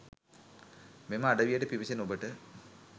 මෙම අඩවියට පිවිසෙන ඔබට